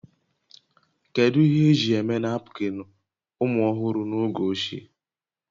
Kedu ihe eji eme napkịn ụmụ ọhụrụ n'oge ochie?